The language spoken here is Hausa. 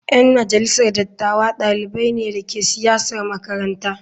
Yan majalisar dattawa dalibai ne da ke siyasar makaranta.